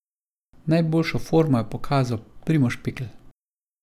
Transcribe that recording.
Najboljšo formo je pokazal Primož Pikl.